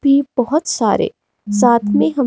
भी बहोत सारे साथ में हम--